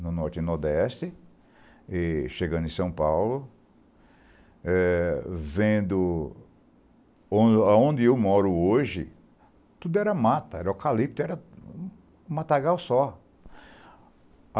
no Norte e Nordeste, chegando em São Paulo, vendo onde eu moro hoje, tudo era mata, era eucalipto, era um matagal só.